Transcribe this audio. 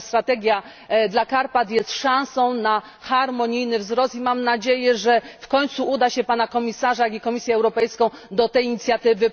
Natomiast strategia dla Karpat jest szansą na harmonijny wzrost, i mam nadzieję, że w końcu uda się przekonać Pana Komisarza i Komisję Europejską do tej inicjatywy.